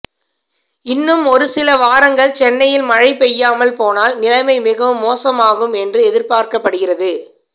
இன்னும் ஒருசில வாரங்கள் சென்னையில் மழை பெய்யாமல் போனால் நிலைமை மிகவும் மோசமாகும் என்று எதிர்பார்க்கப்படுகிறது